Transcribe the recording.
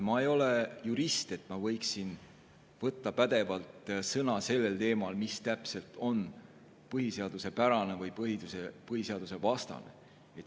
Ma ei ole jurist, et ma võiksin võtta pädevalt sõna sellel teemal, mis täpselt on põhiseaduspärane või põhiseadusvastane.